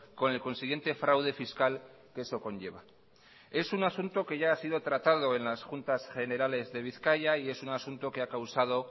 con el consiguiente fraude fiscal que eso conlleva es un asunto que ya ha sido tratado en las juntas generales de bizkaia y es un asunto que ha causado